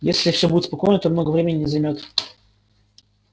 если всё будет спокойно то много времени не займёт